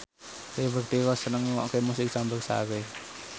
Liberty Ross seneng ngrungokne musik campursari